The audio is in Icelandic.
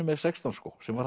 með sextán skó sem var